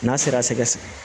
N'a sera sɛgɛsɛgɛ